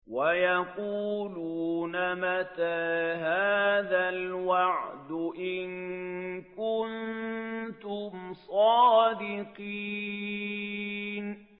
وَيَقُولُونَ مَتَىٰ هَٰذَا الْوَعْدُ إِن كُنتُمْ صَادِقِينَ